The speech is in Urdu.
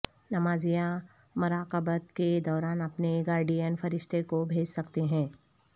نماز یا مراقبت کے دوران اپنے گارڈین فرشتہ کو بھیج سکتے ہیں